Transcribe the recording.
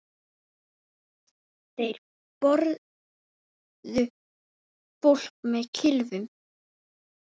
Þeir börðu fólk með kylfum.